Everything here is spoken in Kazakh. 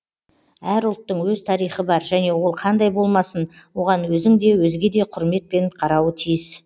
әр ұлттың өз тарихы бар және ол қандай болмасын оған өзің де өзге де құрметпен қарауы тиіс